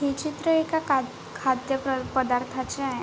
हे चित्र एका काग खाद्य पर्दा पदार्थाचे आहे.